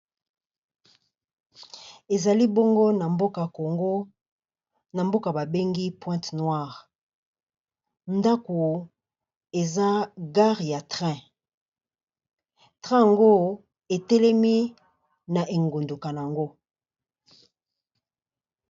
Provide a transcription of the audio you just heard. Ezali bongo na mboka Congo na mboka ba bengi pointe noire, ndako eza gare ya train. Train yango etelemi na engunduka nango.